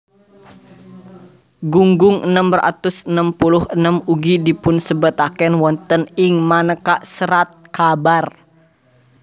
Gunggung enem atus enem puluh enem ugi dipunsebataken wonten ing manéka serat kabar